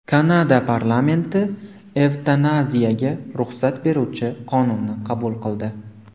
Kanada parlamenti evtanaziyaga ruxsat beruvchi qonunni qabul qildi.